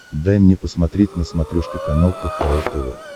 дай мне посмотреть на смотрешке канал кхл тв